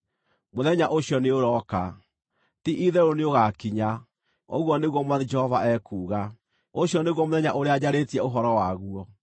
Mũthenya ũcio nĩũrooka! Ti-itherũ nĩũgakinya, ũguo nĩguo Mwathani Jehova ekuuga. Ũcio nĩguo mũthenya ũrĩa njarĩtie ũhoro waguo.